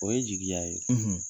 O ye jigiya ye